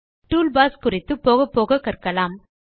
tool bars குறித்து போகப்போக கற்கலாம்